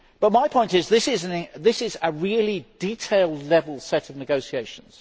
My point is that this is a really detailed level set of negotiations.